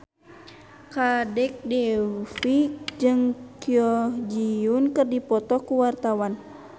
Kadek Devi jeung Kwon Ji Yong keur dipoto ku wartawan